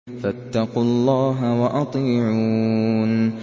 فَاتَّقُوا اللَّهَ وَأَطِيعُونِ